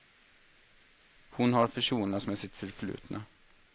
Hon har försonats med sitt förflutna.